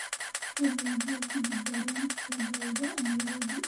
fadlan hal tigidh tareen ka dalbo nairobi